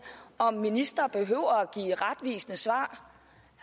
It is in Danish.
om ministre behøver give retvisende svar